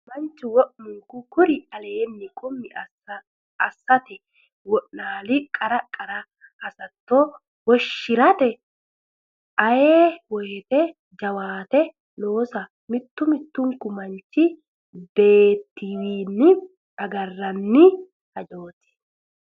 Mannu wo munku kuri aleenni qummi assate wo naali qara qara hassatto wonshi rate ayee woteno jawaate loosa mittu mittunku manchu beettiwiinni agarranni hajaati.